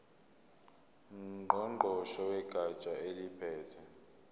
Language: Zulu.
ngqongqoshe wegatsha eliphethe